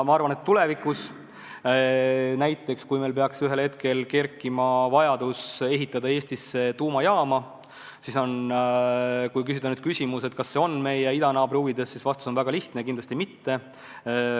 Ma arvan, et tulevikus, kui meil peaks ühel hetkel üles kerkima vajadus ehitada Eestisse tuumajaam, siis kui esitada küsimus, kas see on meie idanaabri huvides, siis vastus on väga lihtne: kindlasti mitte.